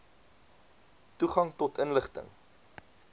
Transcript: toegang tot inligting